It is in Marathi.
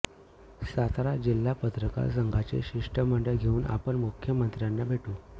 सातारा जिल्हा पत्रकार संघाचे शिष्टमंडळ घेवून आपण मुख्यमंत्र्यांना भेटू